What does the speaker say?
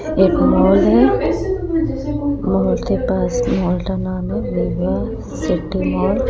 एक माल है माल के पास सिटी मॉल --